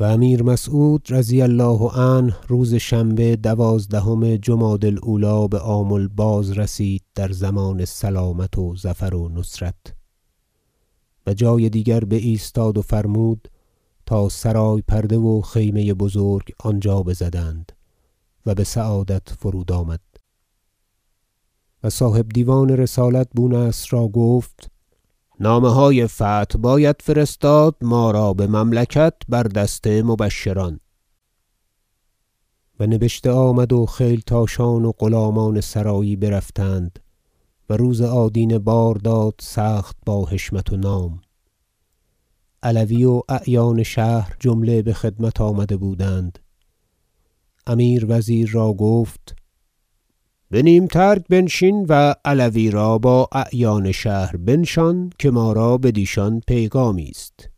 و امیر مسعود رضی الله عنه روز شنبه دوازدهم جمادی الاولی بآمل بازرسید در ضمان سلامت و ظفر و نصرت و جای دیگر بایستاد و فرمود تا سرای پرده و خیمه بزرگ آنجا بزدند و بسعادت فرود آمد و صاحب دیوان رسالت بونصر را گفت نامه های فتح باید فرستاد ما را بمملکت بر دست مبشران و نبشته آمد و خیلتاشان و غلامان سرایی برفتند و روز آدینه بار داد سخت با حشمت و نام علوی و اعیان شهر جمله بخدمت آمده بودند امیر وزیر را گفت به نیم ترگ بنشین و علوی را با اعیان شهر بنشان که ما را بدیشان پیغامی است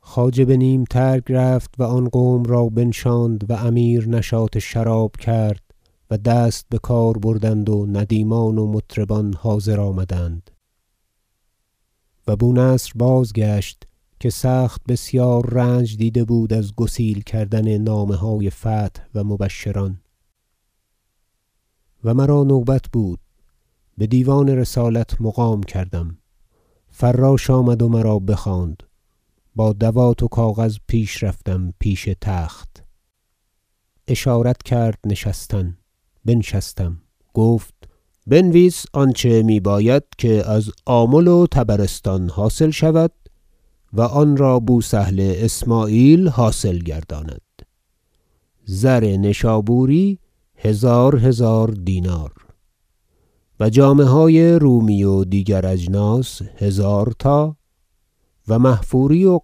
خواجه به نیم ترگ رفت و آن قوم را بنشاند و امیر نشاط شراب کرد و دست بکار بردند و ندیمان و مطربان حاضر آمدند و بونصر بازگشت که سخت بسیار رنج دیده بود از گسیل کردن نامه های فتح و مبشران و مرا نوبت بود بدیوان رسالت مقام کردم فراش آمد و مرا بخواند با دوات و کاغذ پیش رفتم پیش تخت اشارت کرد نشستن بنشستم گفت بنویس آنچه میباید که از آمل و طبرستان حاصل شود و آنرا بوسهل اسمعیل حاصل گرداند زر نشابوری هزار هزار دینار و جامه های رومی و دیگر اجناس هزارتا و محفوری و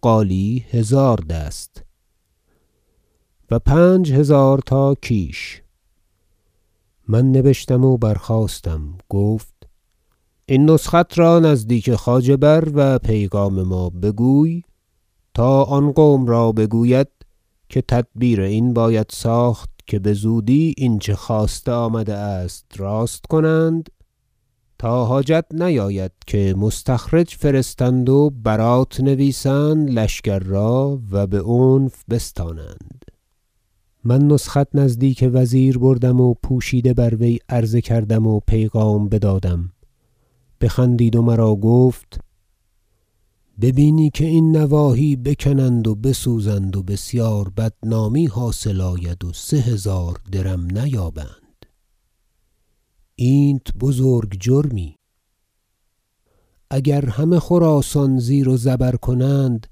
قالی هزار دست و پنج هزار تا کیش من نبشتم و برخاستم گفت این نسخت را نزدیک خواجه بر و پیغام ما بگوی تا آن قوم را بگوید که تدبیر این باید ساخت که بزودی اینچه خواسته آمده است راست کنند تا حاجت نیاید که مستخرج فرستند و برات نویسند لشکر را و بعنف بستانند من نسخت نزدیک وزیر بردم و پوشیده بر وی عرضه کردم و پیغام بدادم بخندید و مرا گفت ببینی که این نواحی بکنند و بسوزند و بسیار بدنامی حاصل آید و سه هزار درم نیابند اینت بزرگ جرمی اگر همه خراسان زیر و زبر کنند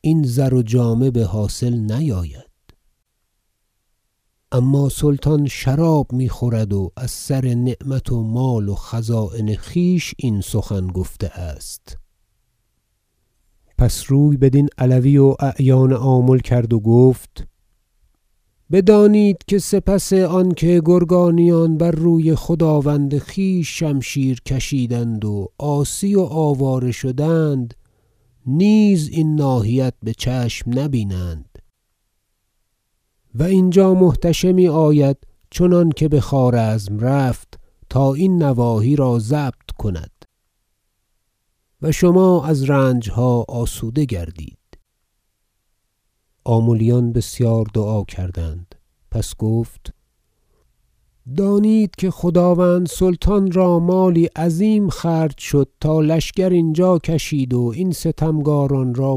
این زر و جامه بحاصل نیاید اما سلطان شراب میخورد و از سر نعمت و مال و خزاین خویش این سخن گفته است مال خواستن امیر مسعود از گرگانیان پس روی بدین علوی و اعیان آمل کرد و گفت بدانید که سپس آنکه گرگانیان بر روی خداوند خویش شمشیر کشیدند و عاصی و آواره شدند نیز این ناحیت بچشم نبینند و اینجا محتشمی آید چنانکه بخوارزم رفت تا این نواحی را ضبط کند و شما از رنجها آسوده گردید آملیان بسیار دعا کردند پس گفت دانید که خداوند سلطان را مالی عظیم خرج شد تا لشکر اینجا کشید و این ستمکاران را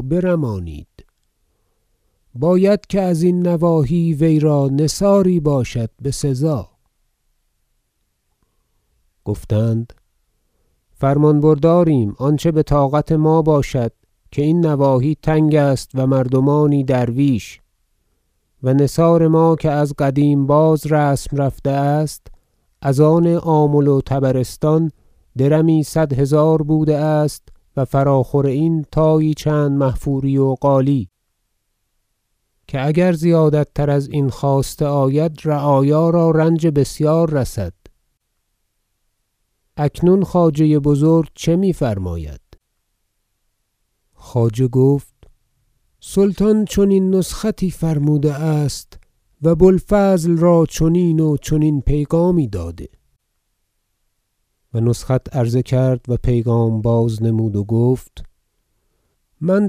برمانید باید که ازین نواحی وی را نثاری باشد بسزا گفتند فرمان برداریم آنچه بطاقت ما باشد که این نواحی تنگ است و مردمانی درویش و نثار ما که از قدیم باز رسم رفته است از آن آمل و طبرستان درمی صد هزار بوده است و فراخور این تایی چند محفوری و قالی که اگر زیادت تر ازین خواسته آید رعایا را رنج بسیار رسد اکنون خواجه بزرگ چه میفرماید خواجه گفت سلطان چنین نسختی فرموده است و بوالفضل را چنین و چنین پیغامی داده و نسخت عرضه کرد و پیغام بازنمود و گفت من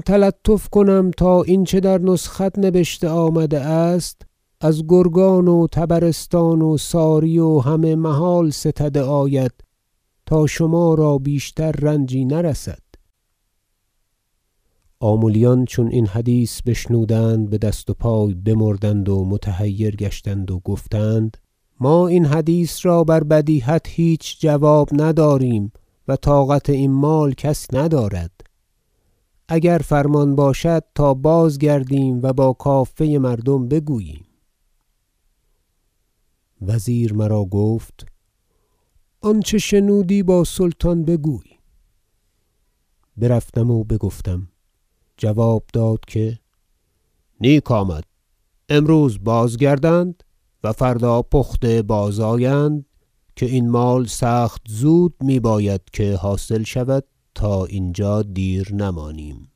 تلطف کنم تا این چه در نسخت نبشته آمده است از گرگان و طبرستان و ساری و همه محال ستده آید تا شما را بیشتر رنجی نرسد آملیان چون این حدیث بشنودند بدست و پای بمردند و متحیر گشتند و گفتند ما این حدیث را بر بدیهت هیچ جواب نداریم و طاقت این مال کس ندارد اگر فرمان باشد تا بازگردیم و با کافه مردم بگوییم وزیر مرا گفت آنچه شنودی با سلطان بگوی برفتم و بگفتم جواب داد که نیک آمد امروز بازگردند و فردا پخته بازآیند که این مال سخت زود میباید که حاصل شود تا اینجا دیر نمانیم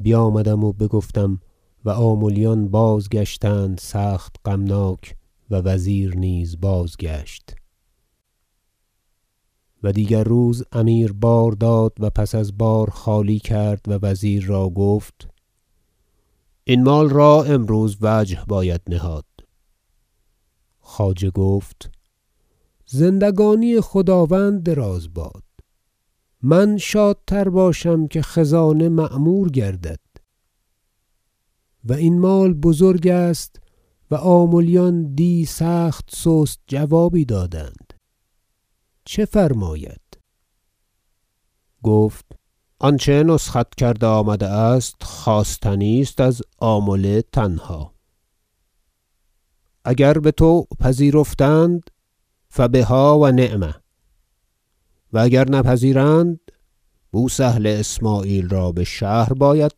بیامدم و بگفتم و آملیان بازگشتند سخت غمناک و وزیر نیز بازگشت و دیگر روز امیر بار داد و پس از بار خالی کرد و وزیر را گفت این مال را امروز وجه باید نهاد خواجه گفت زندگانی خداوند دراز باد من شادتر باشم که خزانه معمور گردد و این مال بزرگ است و آملیان دی سخت سست جوابی دادند چه فرماید گفت آنچه نسخت کرده آمده است خواستنی است از آمل تنها اگر بطوع پذیرفتند فبها و نعم و اگر نپذیرند بوسهل اسمعیل را بشهر باید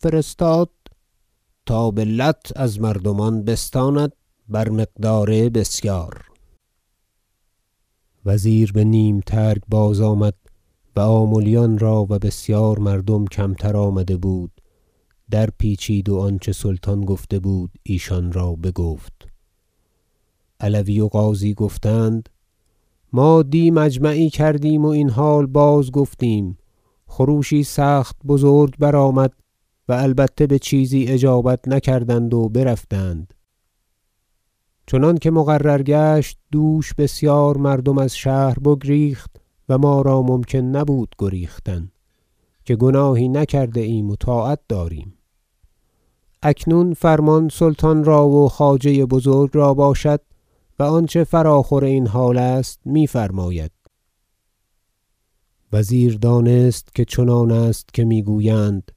فرستاد تا به لت از مردمان بستاند بر مقدار بسیار وزیر بنیم ترگ بازآمد و آملیان را- و بسیار مردم کمتر آمده بود- درپیچید و آنچه سلطان گفته بود ایشان را بگفت علوی و قاضی گفتند ما دی مجمعی کردیم و این حال بازگفتیم خروشی سخت بزرگ برآمد و البته بچیزی اجابت نکردند و برفتند چنانکه مقرر گشت دوش بسیار مردم از شهر بگریخت و ما را ممکن نبود گریختن که گناهی نکرده ایم و طاعت داریم اکنون فرمان سلطان را و خواجه بزرگ را باشد و آنچه فراخور این حال است میفرماید وزیر دانست که چنان است که میگویند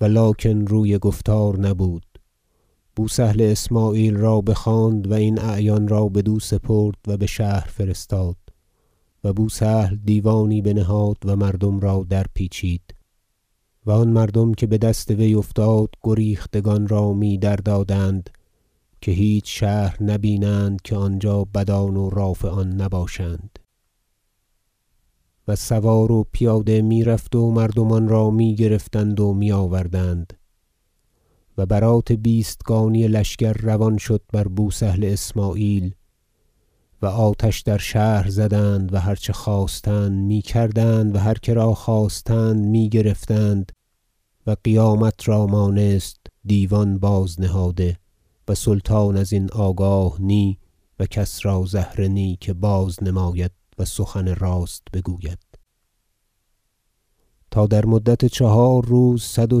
ولکن روی گفتار نبود بوسهل اسمعیل را بخواند و این اعیان را بدو سپرد و بشهر فرستاد و بوسهل دیوانی بنهاد و مردم را درپیچید و آن مردم که بدست وی افتاد گریختگان را می دردادند - که هیچ شهر نبینند که آنجا بدان و رافعان نباشند- و سوار و پیاده میرفت و مردمان را میگرفتند و میآوردند و برات بیستگانی لشکر روان شد بر بوسهل اسمعیل و آتش در شهر زدند و هر چه خواستند میکردند و هر کرا خواستند میگرفتند و قیامت را مانست دیوان بازنهاده و سلطان ازین آگاه نی و کس را زهره نی که بازنماید و سخنی راست بگوید تا در مدت چهار روز صد و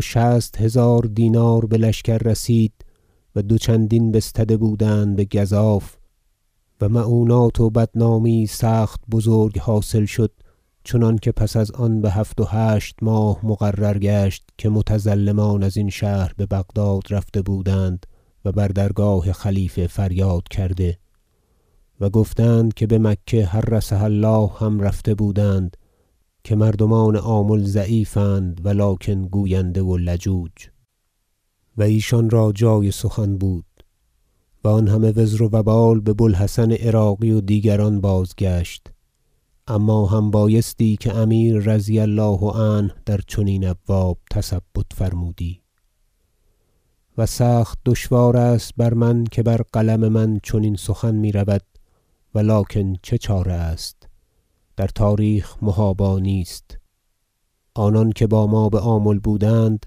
شصت هزار دینار بلشکر رسید و دو چندین بستده بودند بگزاف و مؤنات و بدنامی یی سخت بزرگ حاصل شد چنانکه پس از آن بهفت و هشت ماه مقرر گشت که متظلمان ازین شهر ببغداد رفته بودند و بر درگاه خلیفت فریاد کرده و گفتند که بمکه حرسها الله هم رفته بودند که مردمان آمل ضعیف اند ولکن گوینده و لجوج و ایشان را جای سخن بود و آن همه وزر و وبال ببو الحسن عراقی و دیگران بازگشت اما هم بایستی که امیر رضی الله عنه در چنین ابواب تثبت فرمودی و سخت دشوار است بر من که بر قلم من چنین سخن میرود ولکن چه چاره است در تاریخ محابا نیست آنان که با ما بآمل بودند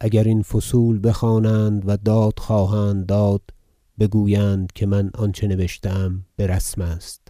اگر این فصول بخوانند وداد خواهند داد بگویند که من آنچه نبشتم برسم است